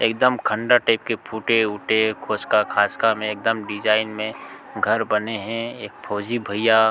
एकदम खण्डर टाइप के फूटे उटे खोस्का-खास्का मे एकदम डिज़ाइन में घर बने है। एक फौजी भैया--